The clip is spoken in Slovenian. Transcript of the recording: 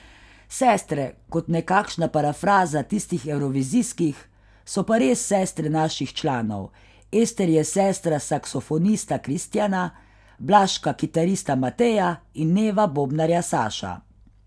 Sestre, kot nekakšna parafraza tistih evrovizijskih, so pa res sestre naših članov, Ester je sestra saksofonista Kristjana, Blaška kitarista Mateja in Neva bobnarja Saša.